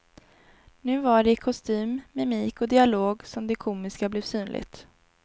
Nu var det i kostym, mimik och dialog som det komiska blev synligt.